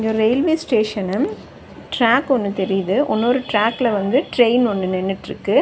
இது ஒரு railway station track ஒன்னு தெரியுது உன்னொரு ட்ராக்ல வந்து ட்ரெயின் ஒன்னு நின்னுட்ருக்கு.